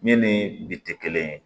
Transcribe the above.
Min ni bi tɛ kelen ye